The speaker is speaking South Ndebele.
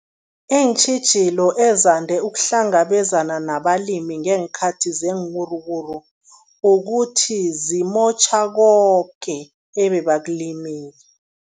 Iintjhijilo ezande ukuhlangabezana nabalimi ngeenkhathi zeenwuruwuru, ukuthi zimotjha koke ebebakulimile.